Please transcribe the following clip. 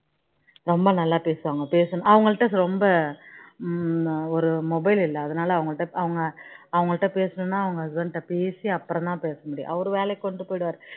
ரொம்ப நல்லா பேசுவாங்க அவனக் கிடா ரொம்ப ஹம் ஒரு mobile இல்ல அதனால அவங்க கிட்ட அவங்க கிட்ட பேசணும்னா அவங்க husband கிட்ட பேசி அப்பறோம் தான் பேச முடியும் அவர் வேலைக்கு கொண்டு போயிடுவாரு